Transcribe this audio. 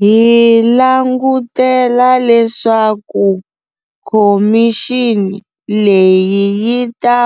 Hi langutela leswaku khomixini leyi yi ta